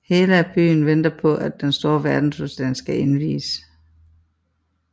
Hela byen venter på at den store verdensudstilling skal indviges